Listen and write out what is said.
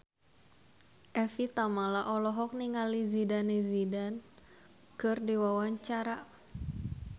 Evie Tamala olohok ningali Zidane Zidane keur diwawancara